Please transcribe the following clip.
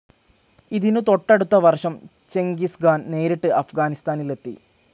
ഇതിനു തൊട്ടടുത്ത വർഷം ചെൻകിസ് ഖാൻ നേരിട്ട് അഫ്ഗാനിസ്ഥാനിലെത്തി.